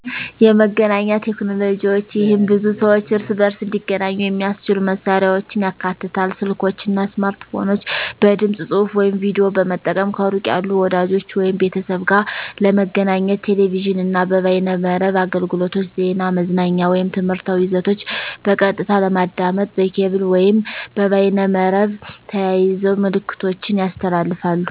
የመገናኛ ቴክኖሎጅዋች ይህም ድብ ሰዋች እርስበርስ እንዲገኙ የሚያሰችሉ መሳሪያዎችን ያካትታል፤ ስልኮች አና ስማርትፎኖች በድምጽ፣ ጽሁፍ ወይም ቪዲዮ በመጠቀም ከሩቅ ያሉ ወዳጅች ወይም ቤተሰብ ጋር ለመገኘት። ቴሌቪዥን አና የበይነመረብ አገልግሎቶች ዜና፣ መዝናኛ ወይም ትምህርታዊ ይዘቶች በቀጥታ ለማዳመጥ። በኬብል ወይም በበይመርብ ተያይዘው ምልክቶችን ያስተላልፋሉ።